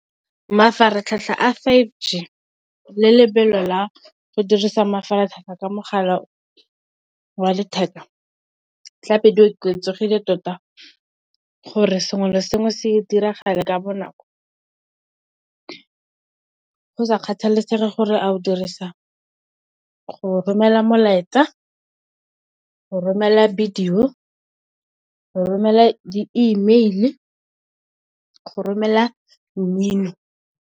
Mafaratlhatlha a fiveG le lebelo la go dirisa mafaratlhatlha ka mogala wa letheka tlabe go oketsegile tota, gore sengwe le sengwe se diragala ka bonako go sa kgathalesege gore a o romela molaetsa, o romela videyo, o romela di email kgotsa o romela mmino.